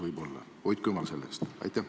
Hoidku jumal selle eest!